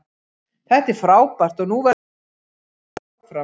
Þetta er frábært og nú verðum við að halda þessu gengi áfram.